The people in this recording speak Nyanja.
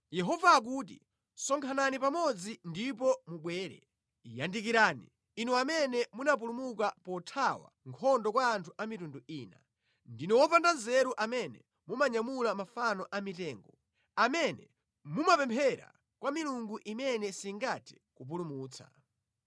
Yehova akuti, “Sonkhanani pamodzi ndipo mubwere; yandikirani, inu amene munapulumuka pothawa nkhondo kwa anthu a mitundu ina. Ndinu opanda nzeru amene mumanyamula mafano a mitengo, amene mumapemphera kwa milungu imene singathe kupulumutsa.